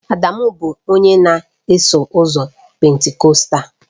Adamu bụ onye na-eso ụzọ Pentikọstal